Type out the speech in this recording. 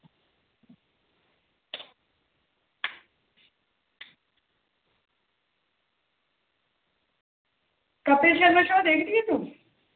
Kapil Sharma show ਦੇਖਦੀ ਆਂ ਤੋਂ